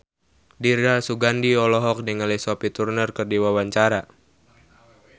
Dira Sugandi olohok ningali Sophie Turner keur diwawancara